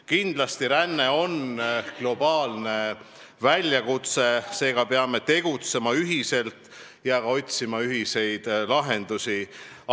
Kindlasti, ränne on globaalne väljakutse, seega peame tegutsema ühiselt ja ka otsima ühiseid lahendusi.